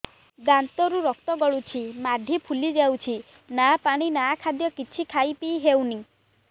ଦାନ୍ତ ରୁ ରକ୍ତ ଗଳୁଛି ମାଢି ଫୁଲି ଯାଉଛି ନା ପାଣି ନା ଖାଦ୍ୟ କିଛି ଖାଇ ପିଇ ହେଉନି